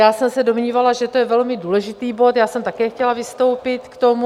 Já jsem se domnívala, že to je velmi důležitý bod, já jsem také chtěla vystoupit k tomu.